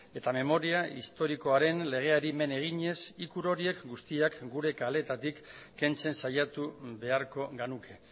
eta memoria historikoaren legeari men eginez ikur horiek guztiak gure kaleetatik kentzen saiatu beharko genuke